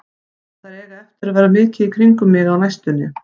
Þær eiga eftir að vera mikið í kringum mig á næstunni.